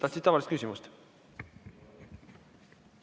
Tahtsid tavalist küsimust?